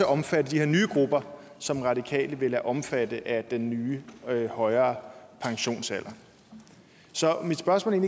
omfatte de her nye grupper som radikale vil lade omfatte af den nye højere pensionsalder så mit spørgsmål er